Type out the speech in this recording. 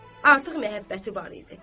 Artıq məhəbbəti var idi.